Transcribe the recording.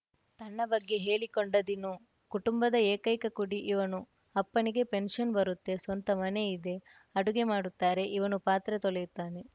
ತನ್ನ ಬಗ್ಗೆ ಹೇಳಿಕೊಂಡ ದಿನೂ ಕುಟುಂಬದ ಏಕೈಕ ಕುಡಿ ಇವನು ಅಪ್ಪನಿಗೆ ಪೆನ್ಶನ್‌ ಬರುತ್ತೆ ಸ್ವಂತ ಮನೆಯಿದೆ ಅಡುಗೆ ಮಾಡುತ್ತಾರೆ ಇವನು ಪಾತ್ರೆ ತೊಳೆಯುತ್ತಾನೆ